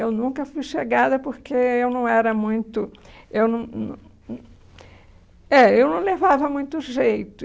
Eu nunca fui chegada porque eu não era muito... Eu não nã hum é, eu não levava muito jeito.